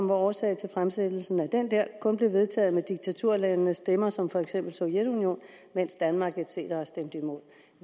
var årsag til fremsættelsen af den der kun blev vedtaget med diktaturlandenes stemmer som for eksempel sovjetunionens mens danmark et cetera stemte imod